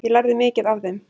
Ég lærði mikið af þeim.